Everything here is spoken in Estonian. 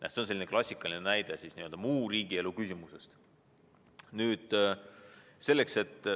See on selline klassikaline näide muu riigielu küsimuse kohta.